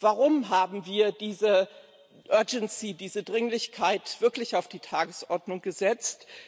Warum haben wir diese Dringlichkeit wirklich auf die Tagesordnung gesetzt?